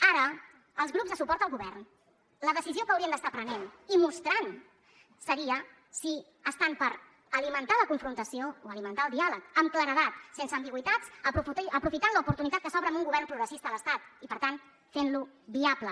ara els grups de suport al govern la decisió que haurien d’estar prenent i mostrant seria si estan per alimentar la confrontació o alimentar el diàleg amb claredat sense ambigüitats aprofitant l’oportunitat que s’obre amb un govern progressista a l’estat i per tant fent lo viable